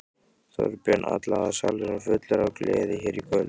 Þorbjörn: Allavega salurinn fullur af gleði hér í kvöld?